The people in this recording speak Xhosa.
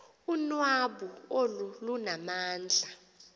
unwabu olu lunamandla